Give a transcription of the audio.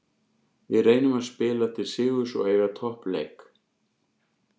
Við reynum að spila til sigurs og eiga toppleik.